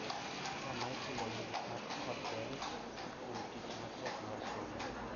Kama itimonegi pak koda dend kuom tich matek mar somo.